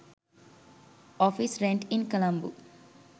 office rent in colombo